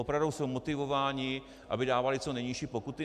Opravdu jsou motivovány, aby dávaly co nejnižší pokuty?